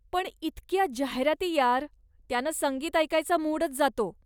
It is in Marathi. पण इतक्या जाहिराती यार, त्यानं संगीत ऐकायचा मूडच जातो.